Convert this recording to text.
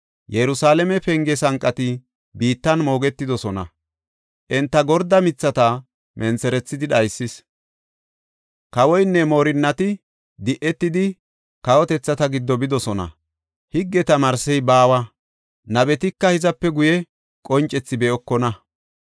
Yerusalaame penge sanqati biittan moogetidosona; enta gorde mithata mentherethidi dhaysis. Kawoynne moorinnati di7etidi kawotethata giddo bidosona; higge tamaarsey baawa; nabetika hizape guye qoncethi be7okona.